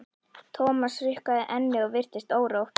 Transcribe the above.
Thomas hrukkaði ennið og virtist órótt.